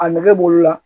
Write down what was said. A nege b'olu la